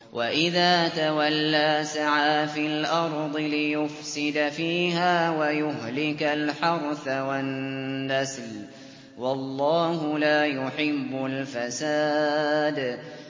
وَإِذَا تَوَلَّىٰ سَعَىٰ فِي الْأَرْضِ لِيُفْسِدَ فِيهَا وَيُهْلِكَ الْحَرْثَ وَالنَّسْلَ ۗ وَاللَّهُ لَا يُحِبُّ الْفَسَادَ